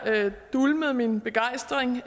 dæmpede min begejstring